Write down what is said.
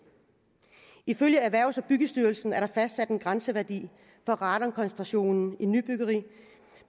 ifølge erhvervsstyrelsen er der fastsat en grænseværdi for radonkoncentrationen i nybyggeri